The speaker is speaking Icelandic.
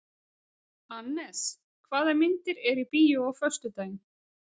Annes, hvaða myndir eru í bíó á föstudaginn?